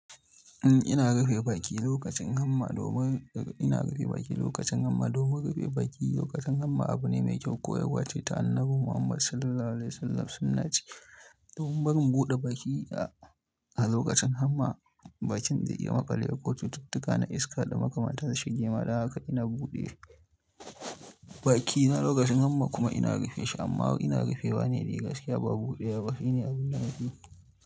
Ina rufe baki lokacin hamma domin ina rufe baki lokacin hamma. Domin rufe baki lokacin hamma abu ne mai kyau koyarwa ce ta Annabi Muhammad Sallallahu Alaihi Wasallam sunnah ce. Domin barin buɗe baki a, a lokacin hamma bakin zai iya makale ƙuɗin cututtuka na iska da makamatan su shige ma. Haka ina buɗe baki na lokacin hamma kuma ina rufe shi amma ina rufewane dai gaskiya ba buɗewa ba. Shi ne abin da nake yi.